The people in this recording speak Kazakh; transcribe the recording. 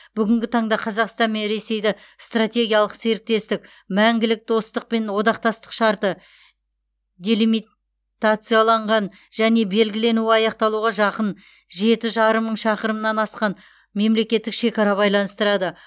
бүгінгі таңда қазақстан мен ресейді стратегиялық серіктестік мәңгілік достық пен одақтастық шарты делимитацияланған және белгіленуі аяқталуға жақын жеті жарым мың шақырымнан асқан мемлекеттік шекара байланыстырады